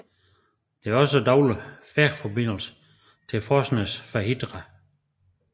Der er også daglig færgeforbindelse til Forsnes på Hitra